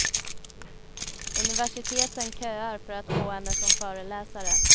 Universiteten köar för att få henne som föreläsare.